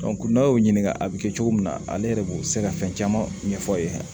n'a y'o ɲininka a bɛ kɛ cogo min na ale yɛrɛ b'o se ka fɛn caman ɲɛfɔ